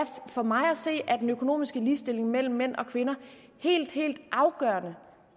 for mig at se er den økonomiske ligestilling mellem mænd og kvinder helt helt afgørende